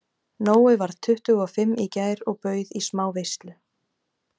Nói varð tuttugu og fimm í gær og bauð í smá veislu.